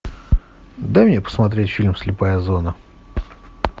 дай мне посмотреть фильм слепая зона